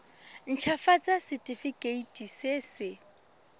nt hafatsa setefikeiti se se